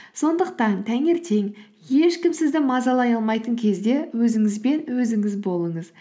сондықтан таңертең ешкім сізді мазалай алмайтын кезде өзіңізбен өзіңіз болыңыз